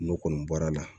N'o kɔni bɔra la